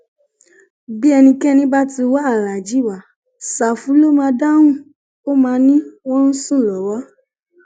bí ẹnikẹni bá ti wáá wá aláàjì wa ṣáfù ló máa dáhùn ó máa ní wọn ń sùn lọwọ